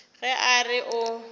ge a re o a